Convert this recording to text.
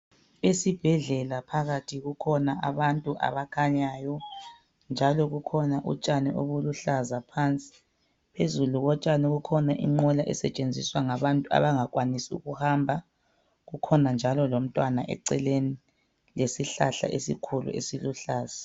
Esibhedlela phakathi kukhona abantu abakhanyayo njalo bukhona utshani obuluhlaza phasi phezulu kotshani kukhona inqola esetshenziswa ngabantu abangakwanisi ukuhamba kukhona njalo lomtwana eceleni lesihlahla esikhulu esiluhlaza .